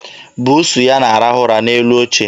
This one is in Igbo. Buusu ya na-arahụ ụra n'elu oche.